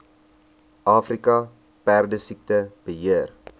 afrika perdesiekte beheer